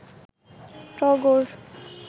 টগর